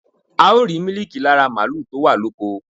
A ó rìí mílíkì láti ara màlúù to wa loko